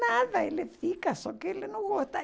Nada, ele fica, só que ele não gosta.